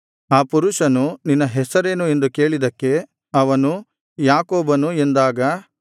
ಆ ಪುರುಷನು ನಿನ್ನ ಹೆಸರೇನು ಎಂದು ಕೇಳಿದ್ದಕ್ಕೆ ಅವನು ಯಾಕೋಬನು ಎಂದಾಗ